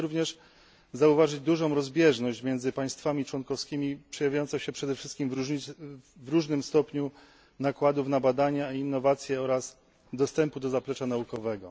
Możemy również zauważyć dużą rozbieżność między państwami członkowskimi, przejawiającą się przede wszystkim w różnym stopniu nakładów na badania i innowacje oraz dostępu do zaplecza naukowego.